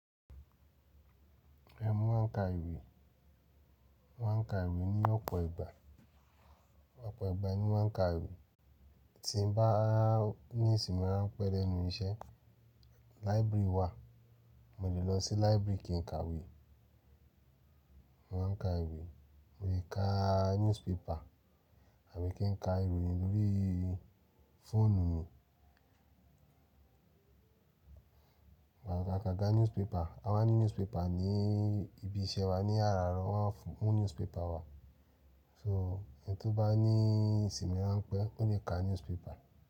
Ẹmu máa ń ka ìwé, wọ́n ń ka ìwé ní ọ̀pọ̀ ìgbà. Ọ̀pọ̀ ìgbà ni mo maa ń ka ìwé. Tí mo bá ní ìsimi rán pẹ́ lẹ́nu iṣẹ́, library wà, mo lè lọ sí library kí n ka ìwé. Wọ́n ń ka ìwé, mo lè ka newspaper àbí kí n ka ìròyìn lórííí fóònù mi. Agaga newspaper, a máa ń ní newspaper ní ibi iṣẹ́ wa. Ni àràárọ̀ wọ́n á fún newspaper wa. So, ẹni tó bá ní ìsimi rán pẹ́, ó lè ka newspaper.